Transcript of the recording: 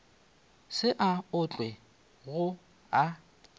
se a otlwa go a